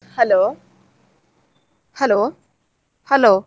Hello hello hello .